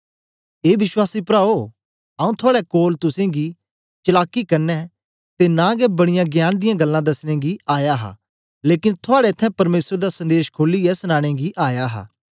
ए विश्वासी प्राओ आऊँ थुआड़े कोल तुसेंगी चलाकी कन्ने ते नां गै बड़ीयां ज्ञान गल्लां दसनें गी आया हा लेकन थुआड़े इत्त्थैं परमेसर दा संदेश खोलियै सनानें गी आया हा